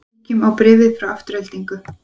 Kíkjum á bréfið frá Aftureldingu